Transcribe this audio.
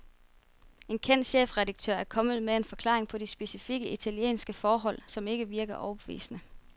En kendt chefredaktør er kommet med en forklaring på de specifikke italienske forhold, som ikke virker overbevisende.